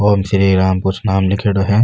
ओम श्री राम कुछ नाम लीखेड़ो है।